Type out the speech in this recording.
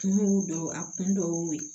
Kun y'o dɔn a kun dɔw y'o ye